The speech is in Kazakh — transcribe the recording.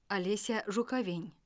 олеся жуковень